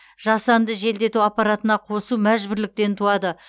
жасанды желдету аппаратына қосу мәжбүрліктен туады